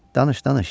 Danış, danış.